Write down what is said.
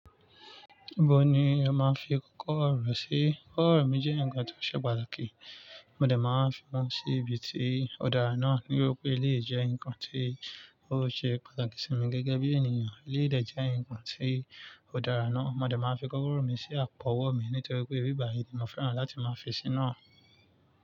Bawo ni ẹ máa ń fi kókó ọ̀rọ̀ sí? Kókó ọ̀rọ̀ mi jẹ́ ǹkan tó ṣe pàtàkì. Mo de máa ń fi wọn sí ibi tí ó dára náà. Nítori pé eléyi jẹ́ ǹnkan tí ó ṣe pàtàkì sí mi gẹ́gẹ́ bí ènìyàn. Eléyi dè jẹ́ ǹnkan tí ó dára náà. Maa dà máa fi kókọ̀rọ̀ mi sí àpọ̀ ọwọ́ mi nítorí pé ibí báyìí ni mo fẹ́ràn láti máa fi síná.